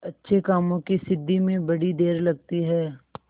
अच्छे कामों की सिद्धि में बड़ी देर लगती है